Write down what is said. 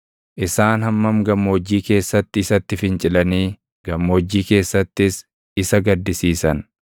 Isaan hammam gammoojjii keessatti isatti fincilanii gammoojjii keessattis isa gaddisiisan